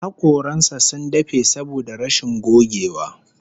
Hakoran sa sun dafe saboda rashin gogewa